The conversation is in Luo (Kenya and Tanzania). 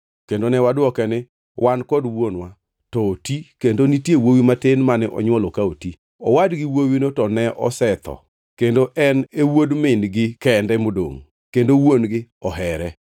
Kendo ne wadwoke ni, ‘Wan kod wuonwa to oti, kendo nitie wuowi matin mane onywolo ka oti. Owadgi wuowino ne osetho kendo en e wuod min-gi kende modongʼ, kendo wuon-gi ohere.’